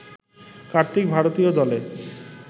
কার্তিক ভারতীয় দলে